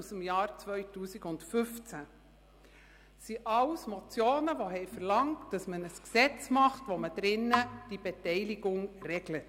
Diese verschiedenen Motionen verlangten ein Gesetz, das die Beteiligung regelt.